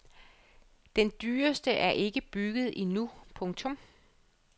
Den dyreste er ikke bygget endnu. punktum